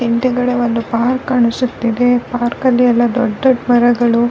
ಕಂಬದ ಮೇಲೆ ಒಂದು ಪ್ರತಿಮೆಯನ್ನೂ ಇಟ್ಟಿದ್ದಾರೆ .